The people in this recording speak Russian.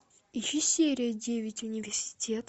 ищи серия девять университет